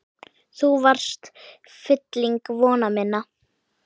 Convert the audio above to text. Þú varst fylling vona minna.